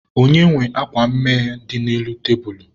Onye nwe akwa mmee dị n'elu tebulu?